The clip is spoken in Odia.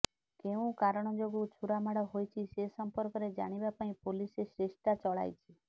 କେଉଁ କାରଣ ଯୋଗୁଁ ଛୁରାମାଡ ହୋଇଛି ସେ ସମ୍ପର୍କରେ ଜାଣିବା ପାଇଁ ପୋଲିସ୍ ଚେଷ୍ଟା ଚଳାଇଛି